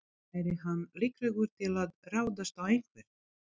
Væri hann líklegur til að ráðast á einhvern?